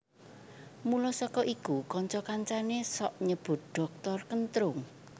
Mula saka iku kanca kancané sok nyebut Dhoktor Kentrung